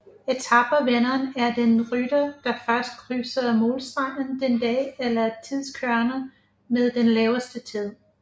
Etape vinderen er den rytter der først krydser målstregen den dag eller tidskøreren med den laveste tid